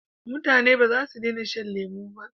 Mutane bazasu dena shan lemo ba